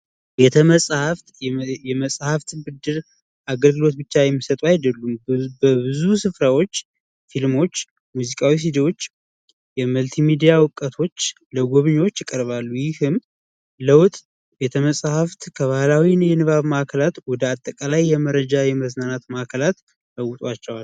ቤተ መጻህፍት የመጽሐፍ ብድር አገልግሎት ብቻ የሚሰጡ አይደሉም፤ በብዙ ስፍራዎች ፊልሞች፣ ሙዚቃዎች፣ እና የመልቲ ሚዲያ እውቀቶች ለጎብኚዎች ይቀርባሉ። ይህም ለውጥ ቤተ መጻህፍት ከባህላዊ የንባብ ማዕከላት ወደ አጠቃላይ የመረጃና የመዝናኛ አካላት ይለውጧቸዋል።